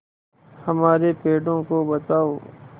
हमारे पेड़ों को बचाओ